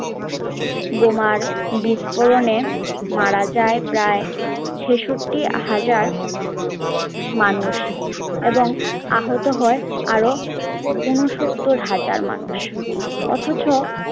বোমার বিস্ফোরণে মারা যায় প্রায় ছেষট্টি হাজার মানুষ এবং আহত হয় আর ঊনসত্তর হাজার মানুষ